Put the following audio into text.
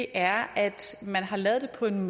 er at man har lavet det på en